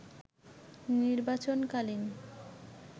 নির্বাচনকালীন